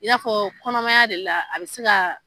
I n'a fɔ kɔnɔmaya de la, a bɛ se ka